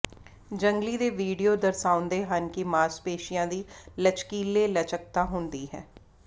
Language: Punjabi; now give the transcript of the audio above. ਜੰਗਲੀ ਦੇ ਵਿਡਿਓ ਦਰਸਾਉਂਦੇ ਹਨ ਕਿ ਮਾਸਪੇਸ਼ੀਆਂ ਦੀ ਲਚਕੀਲੇ ਲਚਕਤਾ ਹੁੰਦੀ ਹੈ